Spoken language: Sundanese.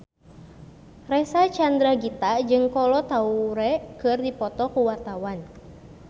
Reysa Chandragitta jeung Kolo Taure keur dipoto ku wartawan